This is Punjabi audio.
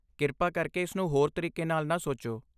ਕਿਰਪਾ ਕਰਕੇ ਇਸ ਨੂੰ ਹੋਰ ਤਰੀਕੇ ਨਾਲ ਨਾ ਸੋਚੋ।